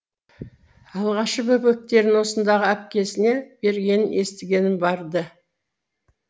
алғашқы бөбектерін осындағы әпкесіне бергенін естігенім бар ды